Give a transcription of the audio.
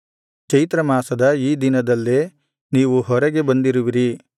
ಚೈತ್ರ ಮಾಸದ ಈ ದಿನದಲ್ಲೇ ನೀವು ಹೊರಗೆ ಬಂದಿರುವಿರಿ